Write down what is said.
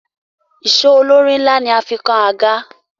Ìsó olórí ńlá ni a fi kan àga.